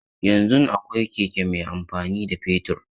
Yanzun akwai keke mai amfani da fetur.